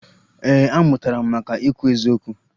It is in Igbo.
Ee, amụtara m maka ikwu eziokwu